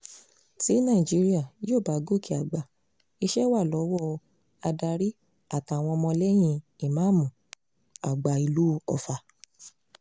tí nàìjíríà yóò bá gòkè àgbà iṣẹ́ wa lọ́wọ́ adarí àtàwọn ọmọlẹ́yìn ìmáàmù àgbà ìlú ọfà